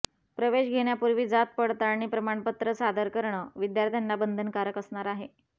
प्रवेश घेण्यापूर्वी जात पडताळणी प्रमाणपत्र सादर करणं विद्यार्थ्यांना बंधनकारक असणार आहे